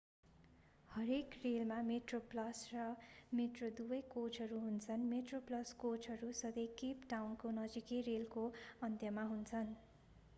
हरेक रेलमा मेट्रोप्लस र मेट्रो दुवै कोचहरू हुन्छन् मेट्रोप्लस कोचहरू सधैँ केप टाउनको नजिकैको रेलको अन्त्यमा हुन्छन्